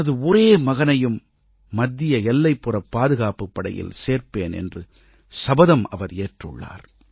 தனது ஒரே மகனையும் மத்திய எல்லைப்புறப் பாதுகாப்புப் படையில் சேர்ப்பேன் என்று சபதம் அவர் ஏற்றுள்ளார்